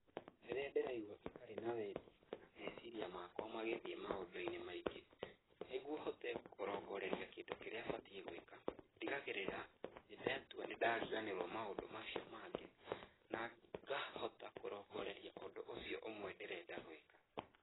Rĩrĩa ndĩraigua itarĩ na wendi ona meciria makwa magĩthiĩ maũndũ-inĩ maingĩ, nĩguo hote kũrongoreria kĩndũ kĩrĩa batiĩ gwĩka ndigagĩgĩrĩra nĩndatua nĩndariganĩrũo na maũndũ macio mangĩ, na ngahota kũrongoreria ũndũ ũcio ũmwe ndĩrenda gwĩka.